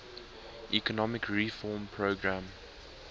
economic reform program